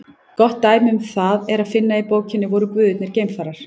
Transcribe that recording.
Gott dæmi um það er að finna í bókinni Voru guðirnir geimfarar?